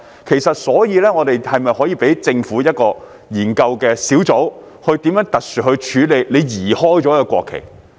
其實，是否可以交由政府的一個研究小組，特殊處理被移開了的國旗？